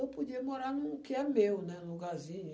Eu podia morar no que é meu, né, no lugarzinho.